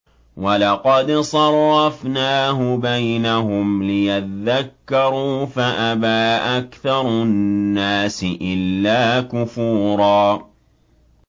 وَلَقَدْ صَرَّفْنَاهُ بَيْنَهُمْ لِيَذَّكَّرُوا فَأَبَىٰ أَكْثَرُ النَّاسِ إِلَّا كُفُورًا